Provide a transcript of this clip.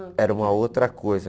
era uma outra coisa.